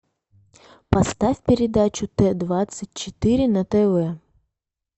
поставь передачу т двадцать четыре на тв